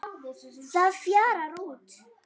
Það fjarar út.